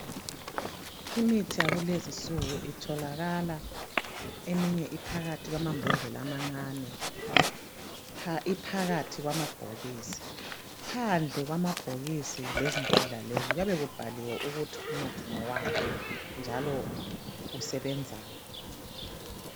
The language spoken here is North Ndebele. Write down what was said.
Imithi yakulezinsuku itholakala eminye iphakathi kwamambodlela amancane, iphakathi kwamabhokisi. Phandle kwamabhokisi lezimbodlela lezi, kuyabe kubhaliwe ukuthi umuthi ngowani njalo usebenzani.